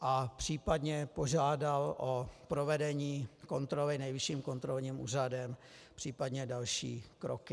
a případně požádal o provedení kontroly Nejvyšším kontrolním úřadem, případně další kroky.